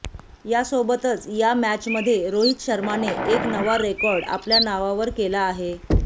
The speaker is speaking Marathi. यासोबतच या मॅचमध्ये रोहित शर्माने एक नवा रेकॉर्ड आपल्या नावावर केला आहे